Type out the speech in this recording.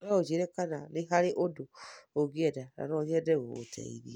No ũnjĩĩre kana nĩ harĩ ũndũ ũngĩenda, na no nyende gũgũteithia.